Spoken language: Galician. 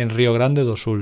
en río grande do sul